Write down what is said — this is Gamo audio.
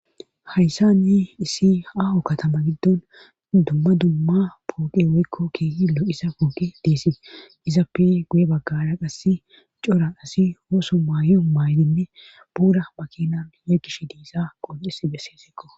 hayssani isi aho katama giddon dumma dumma pooqe woykko keehillo isa pooke deessi izappe guye baggara qassi cora asi ooso maay maaydinne buura makinan i7e gish diissa qoccis besseesikko